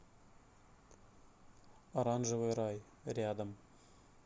оранжевый рай рядом